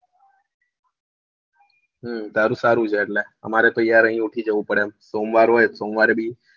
હું તારું સારું છે એટલે અમારે તો યાર અહિયાં ઉઠી જવું પડે એમ સોમવાર હોય સોમવારે બી